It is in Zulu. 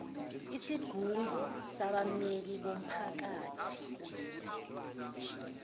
isigungu sabammeli bomphakathi